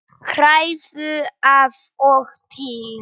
Hrærðu af og til.